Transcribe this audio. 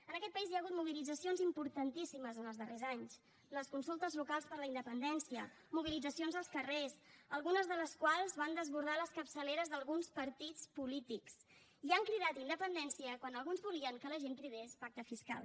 en aquest país hi ha hagut mobilitzacions importantíssimes en els darrers anys les consultes locals per la independència mobilitzacions als carrers algunes de les quals van desbordar les capçaleres d’alguns partits polítics i han cridat independència quan alguns volien que la gent cridés pacte fiscal